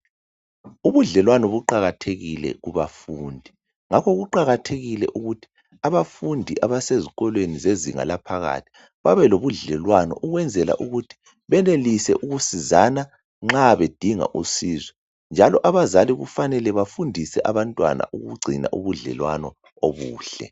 Ubudlelwano buqakathekile kubafundi, ngakho kuqakathekile ukuthi abafundi abasezikolweni zezinga laphakathi babelobudlelwano ukwenzela ukuthi benelise ukusizana nxa bedinga usizo njalo abazali kufanele bafundise abantwana ukugcina ubudlelwano obuhle.